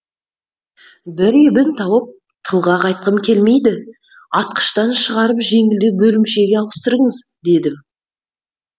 бір ебін тауып тылға қайтқым келмейді атқыштан шығарып жеңілдеу бөлімшегі ауыстырыңыз дедім